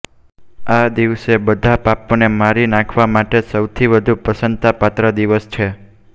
આ દિવસે બધા પાપોને મારી નાખવા માટે સૌથી વધુ પ્રશંસાપાત્ર દિવસ છે